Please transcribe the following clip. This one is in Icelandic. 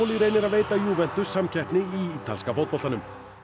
reynir að veita Juventus samkeppni í ítalska fótboltanum